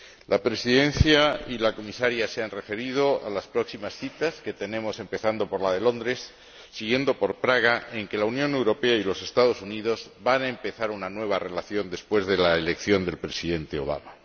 La Presidencia y la Comisaria se han referido a las próximas citas que tenemos, empezando por la de Londres, siguiendo por Praga, en que la Unión Europea y los Estados Unidos van a empezar una nueva relación, después de la elección del Presidente Obama.